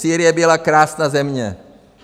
Sýrie byla krásná země.